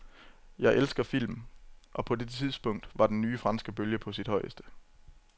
Jeg elskede film, og på det tidspunkt var den nye franske bølge på sit højeste.